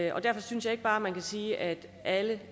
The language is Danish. og derfor synes jeg ikke bare at man kan sige at alle